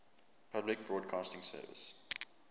public broadcasting service